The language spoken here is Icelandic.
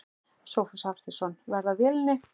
Sófus Hafsteinsson: Verð á vélinni?